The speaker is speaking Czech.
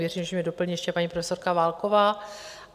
Věřím, že mě doplní ještě paní profesorka Válková.